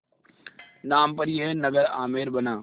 नाम पर यह नगर आमेर बना